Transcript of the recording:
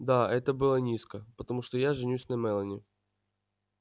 да это было низко потому что я женюсь на мелани